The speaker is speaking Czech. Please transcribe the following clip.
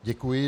Děkuji.